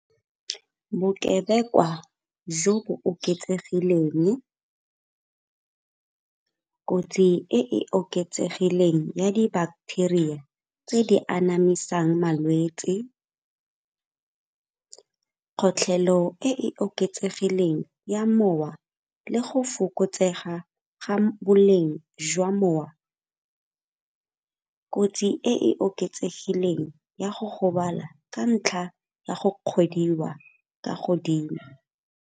Bokebekwa jo bo oketsegileng, kotsi e e oketsegileng ya di-bacteria tse di anamisang malwetsi, kgotlhelo e oketsegileng ya mowa le go fokotsega ga boleng jwa mowa, kotsi e e oketsegileng ya go gobala ka ntlha ya go kgwediwa kwa godimo.